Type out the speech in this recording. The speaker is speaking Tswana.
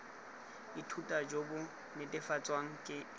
ithuta jo bo netefatswang ke